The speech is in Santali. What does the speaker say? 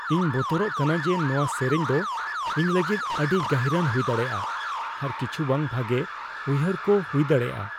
ᱤᱧ ᱵᱚᱛᱚᱨᱚᱜ ᱠᱟᱱᱟ ᱡᱮ ᱱᱚᱣᱟ ᱥᱮᱨᱮᱧ ᱫᱚ ᱤᱧ ᱞᱟᱹᱜᱤᱫ ᱟᱹᱰᱤ ᱜᱟᱹᱦᱤᱨᱟᱱ ᱦᱩᱭ ᱫᱟᱲᱮᱭᱟᱜᱼᱟ ᱟᱨ ᱠᱤᱪᱷᱩ ᱵᱟᱝ ᱵᱷᱟᱜᱮ ᱩᱭᱦᱟᱹᱨᱠᱚ ᱦᱩᱭ ᱫᱟᱲᱮᱭᱟᱜᱼᱟ ᱾